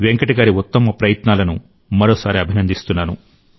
వెంకట్ గారి ఉత్తమ ప్రయత్నాలను మరోసారి అభినందిస్తున్నాను